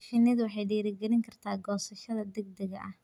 Shinnidu waxay dhiirigelin kartaa goosashada degdega ah.